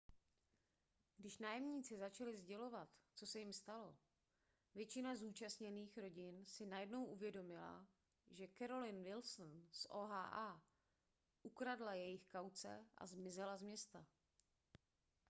když nájemníci začali sdělovat co se jim stalo většina zúčastněných rodin si najednou uvědomila že carolyn wilson z oha ukradla jejich kauce a zmizela z města